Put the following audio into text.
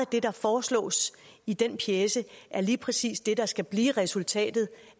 det der foreslås i den pjece er lige præcis det der skal blive resultatet